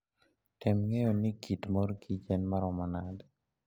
Tem ng'eyo ni kit mor kich en maromo nade.